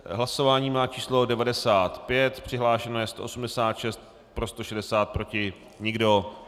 Hlasování má číslo 95, přihlášeno je 186, pro 160, proti nikdo.